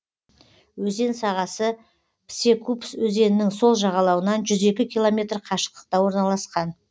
өзен сағасы псекупс өзенінің сол жағалауынан жүз екі километр қашықтықта орналасқан